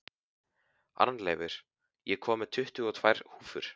Arnleifur, ég kom með tuttugu og tvær húfur!